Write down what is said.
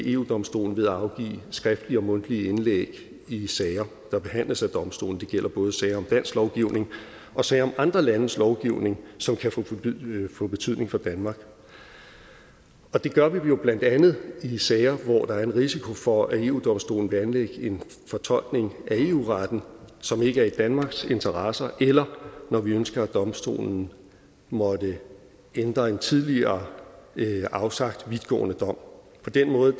eu domstolen ved at afgive skriftlige og mundtlige indlæg i sager der behandles af eu domstolen det gælder både sager om dansk lovgivning og sager om andre landes lovgivning som kan få betydning for danmark og det gør vi jo blandt andet i sager hvor der er en risiko for at eu domstolen vil anlægge en fortolkning af eu retten som ikke er i danmarks interesser eller når vi ønsker at eu domstolen måtte ændre en tidligere afsagt vidtgående dom på den måde